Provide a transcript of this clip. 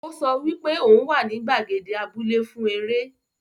O so wipe oun wa ni gbàgede abúlẹ́ fún eré